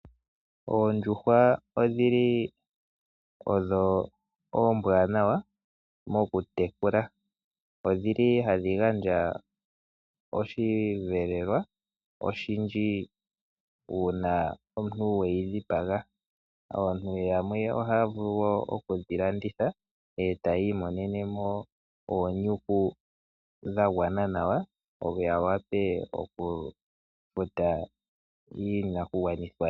Oondjuhwa odhi li odho oombwanawa mokutekula. Odhili hadhi gandja oshivelelwa oshindji uuna omuntu we yi dhipaga. Aantu yamwe oha ya vulu woo okudhi landitha ee ta yiimonenemo oonyuku dha gwana nawa ya wape okufuta iinakugwanithwa ye.